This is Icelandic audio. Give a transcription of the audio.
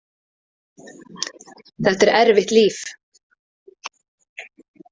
Þetta er erfitt líf.